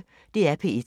DR P1